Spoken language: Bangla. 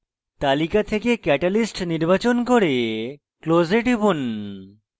তালিকা থেকে catalyst নির্বাচন করে close এ টিপুন